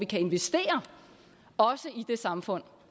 kan investere i det samfund